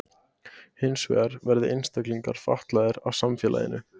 Hins vegar verði einstaklingar fatlaðir af samfélaginu.